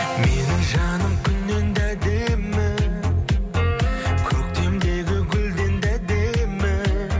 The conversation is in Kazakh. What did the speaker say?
менің жаным күннен де әдемі көктемдегі гүлден де әдемі